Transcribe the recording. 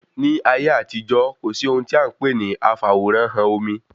Ní ayé àtijó, kò sí ohun tí a npè ní afaworanhan omi